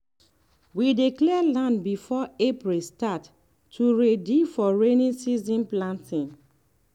we dey clear land before april start to ready for rainy season planting.